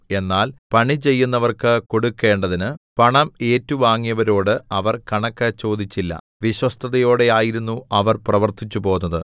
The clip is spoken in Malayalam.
എന്നാൽ പണിചെയ്യുന്നവർക്ക് കൊടുക്കണ്ടതിന് പണം ഏറ്റുവാങ്ങിയവരോട് അവർ കണക്ക് ചോദിച്ചില്ല വിശ്വസ്തതയോടെ ആയിരുന്നു അവർ പ്രവർത്തിച്ചുപോന്നത്